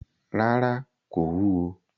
Ràrá, kò wúwo.